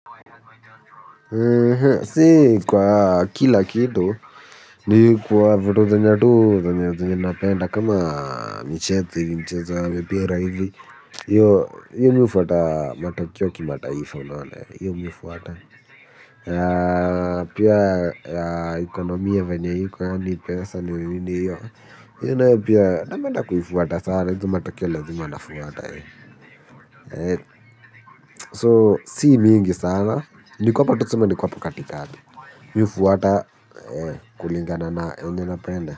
Si kwa kila kitu ni kwa vitu zenye tu zenye zinapenda kama misheti, mchezo, mpira hivi. Mimi hufuata matukio ya kimataifa unaona hio mimi hufuata. Pia ya ekonomia venye iko yaani pesa ni hanyi yo. Hiyo nayo pia napenda kuifuata sana, hizo matakeo lazima nafuata. So, si mingi sana, niko hap tuseme niko hapa katikati, ni hufuata kulingana na yene napenda.